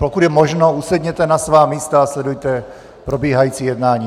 Pokud je možno, usedněte na svá místa a sledujte probíhající jednání.